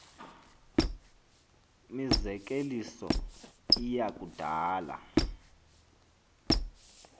mizekeliso iya kudala